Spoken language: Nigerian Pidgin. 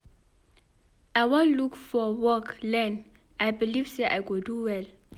I wan look for work learn I believe say I go do well.